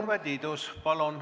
Urve Tiidus, palun!